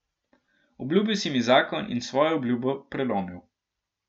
Obljubil si mi zakon in svojo obljubo prelomil.